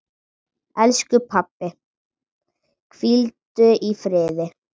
Elsku pabbi, hvíldu í friði.